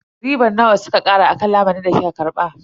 Ribar nawa suka kara akan lamunin da kika karba?